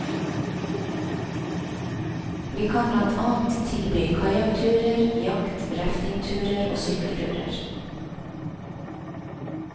Vi kan blant annet tilby kajakkturer, jakt, raftingturer og sykkelturer.